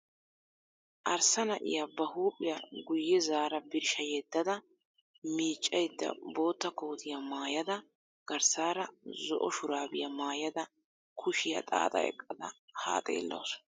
Arssa na'iyaa ba huuphphiyaa guye zaara birshsha yeddada miccaydda bootta kootiyaa maayada garssaara zo"o shuraabiyaa maayada kuushshiyaa xaaxa eqqada haa xeellawus.